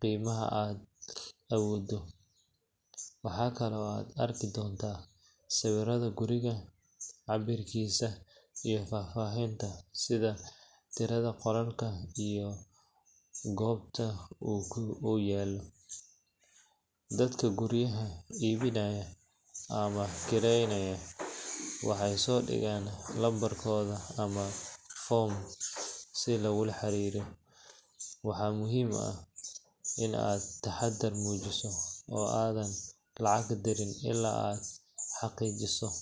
qiimaha aa awoodoh , waxkali oo arki dontah sawirada gurika cabirkisa iyo fafahabta tirada qololka iyo kbota oo yaloh , dadaka guuriyaha ibinayo amah kerenaya waxasidegan numbarkotha foorm si lagu xariroh Ina taxadar mujisoh oo adan lacag dirin ila guurika xaqiijisoh.